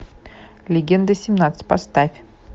легенда семнадцать поставь